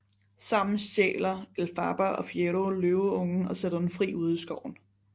Sammen stjæler Elphaba og Fiyero løveungen og sætter den fri ude i skoven